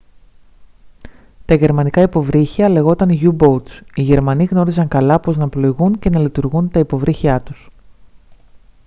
τα γερμανικά υποβρύχια λέγονταν u-boats οι γερμανοί γνώριζαν καλά πώς να πλοηγούν και να λειτουργούν τα υποβρύχιά τους